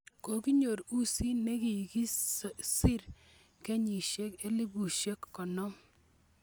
Kokinyor usit nikikosir kenyisiek elbusiek konom.